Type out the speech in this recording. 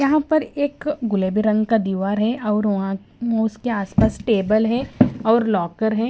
यहां पर एक गुलेबी रंग का दीवार है और वहां उसके आसपास टेबल है और लॉकर है।